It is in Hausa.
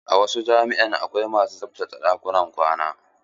A wasu jami'a akwai masu tsaftace ɗakunan kwana.